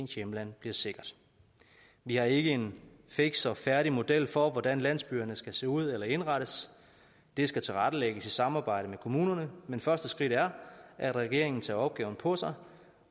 hjemlandet bliver sikkert vi har ikke en fiks og færdig model for hvordan landsbyerne skal se ud eller indrettes det skal tilrettelægges i samarbejde med kommunerne men første skridt er at regeringen tager opgaven på sig